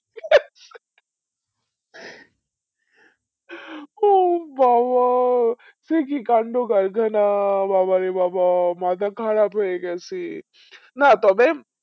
ও বাবা সে কি কাণ্ড কারখানা বাবারে বাবা মাথা খারাপ হয়ে গেছে না তবে